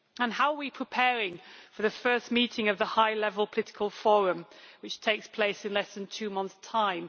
How are we preparing for the first meeting of the high level political forum which takes place in less than 2 months' time?